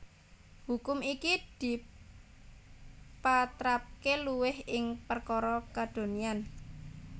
Hukum iki dipatrapaké luwih ing prakara kadonyan